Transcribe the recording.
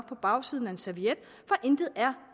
på bagsiden af en serviet for intet er